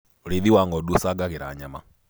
ũrĩithi wa ng'ondu ucangagira nyamaa